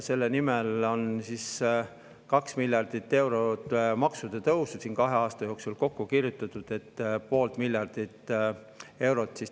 Selle nimel, et poolt miljardit eurot tagasi maksta, on 2 miljardi euro jagu maksude tõuse kahe aasta jooksul kokku kirjutatud.